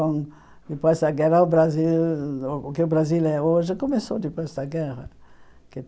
Com depois da guerra o Brasil o que o Brasil é hoje começou depois da guerra que.